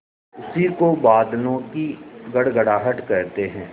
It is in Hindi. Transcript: उसी को बादलों की गड़गड़ाहट कहते हैं